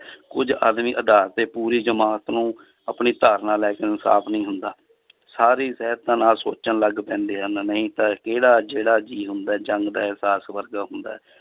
ਕੁੱਝ ਆਦਮੀ ਆਧਾਰ ਤੇ ਪੂਰੇ ਜਮਾਤ ਨੂੰ ਆਪਣੀ ਧਾਰਨਾ ਲੈ ਕੇ ਇਨਸਾਫ਼ ਨਹੀਂ ਹੁੰਦਾ ਸਾਰੀ ਨਾਲ ਸੋਚਣ ਲੱਗ ਪੈਂਦੇ ਹਨ, ਨਹੀਂ ਤਾਂ ਕਿਹੜਾ ਜਿਹੜਾ ਜੀਅ ਹੁੰਦਾ ਹੈ ਜੰਗ ਦਾ ਇਹਸਾਸ ਵਰਗਾ ਹੁੰਦਾ ਹੈ